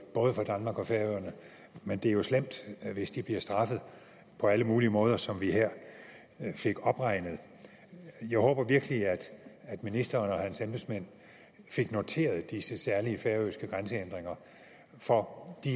men det er jo slemt hvis de bliver straffet på alle mulige måder som vi her fik opregnet jeg håber virkelig at ministeren og hans embedsmænd fik noteret disse særlige færøske grænsehindringer for de